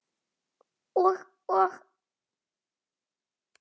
Og, og.